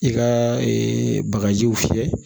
I ka bagajiw fiyɛ